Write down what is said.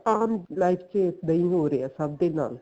ਆਪਾਂ ਹੁਣ life ਚ ਇਹੀ ਹੋ ਰਿਹਾ ਸਭ ਦੇ ਨਾਲ